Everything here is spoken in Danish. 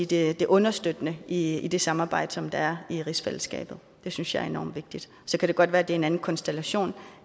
det det understøttende i i det samarbejde som der er i rigsfællesskabet det synes jeg er enormt vigtigt så kan det godt være det bliver en anden konstellation